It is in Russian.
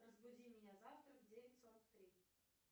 разбуди меня завтра в девять сорок три